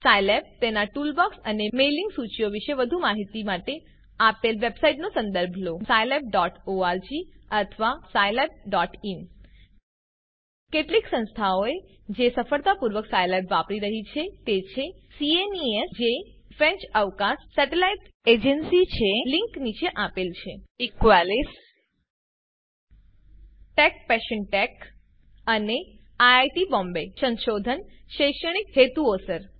Scilab તેનાં toolbox અને mailing સૂચિઓ વિશે વધુ માહિતી માટે આપેલ વેબસાઈટનો સંદર્ભ લો wwwscilaborg અથવા wwwscilabin કેટલીક સંસ્થાઓ જે સફળતાપૂર્વક સાયલેબ વાપરી રહ્યી છે તે છે સીએનઇએસ જે ફ્રેન્ચ અવકાશ સેટેલાઈટ એજન્સી છે લીંક નીચે આપેલ છે httpwwwscilaborgnewsevents20090706use of scilab for space mission analysis Equalis httpwwwequalisસીઓએમ ટેકપેશનટેક httpwwwtechpassiontechસીઓએમ અને આઇઆઇટી બોમ્બે સંશોધન શૈક્ષણિક હેતુઓસર